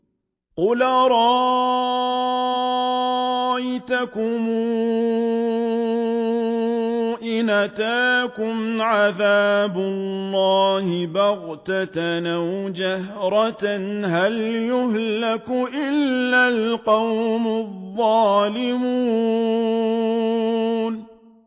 قُلْ أَرَأَيْتَكُمْ إِنْ أَتَاكُمْ عَذَابُ اللَّهِ بَغْتَةً أَوْ جَهْرَةً هَلْ يُهْلَكُ إِلَّا الْقَوْمُ الظَّالِمُونَ